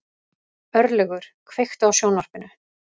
Örlygur, kveiktu á sjónvarpinu.